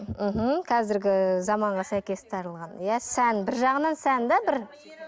мхм қазіргі заманға сәйкес тағылған иә сән бір жағынан сән де бір